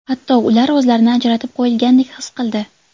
Hatto ular o‘zlarini ajratib qo‘yilgandek his qildi.